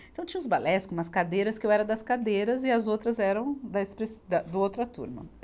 Então tinha os balés com umas cadeiras, que eu era das cadeiras, e as outras eram da expressi, da, do outra turma.